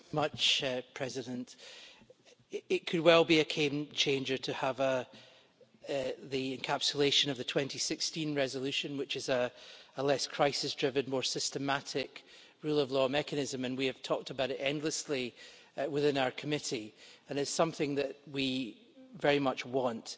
Mr President, it could well be a game changer to have the encapsulation of the 2016 resolution, which is a less crisis driven, more systematic, rule of law mechanism and we have talked about it endlessly within our committee and it is something that we very much want.